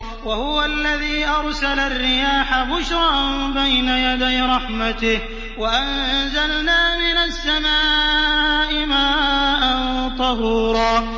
وَهُوَ الَّذِي أَرْسَلَ الرِّيَاحَ بُشْرًا بَيْنَ يَدَيْ رَحْمَتِهِ ۚ وَأَنزَلْنَا مِنَ السَّمَاءِ مَاءً طَهُورًا